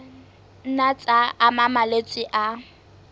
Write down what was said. nna tsa ama malwetse a